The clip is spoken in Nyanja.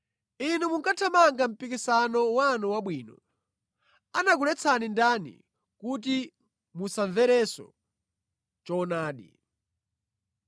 Inu munkathamanga mpikisano wanu wabwino. Anakuletsani ndani kuti musamverenso choonadi?